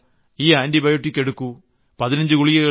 സഹോദരാ ഈ ആന്റിബയോട്ടിക് എടുക്കൂ